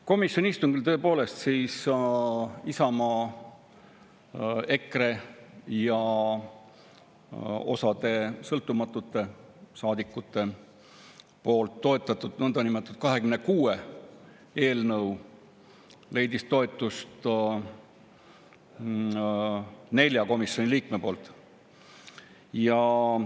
Komisjoni istungil tõepoolest Isamaa, EKRE ja osa sõltumatute saadikute toetatud nõndanimetatud 26 eelnõu leidis komisjoni 4 liikme toetuse.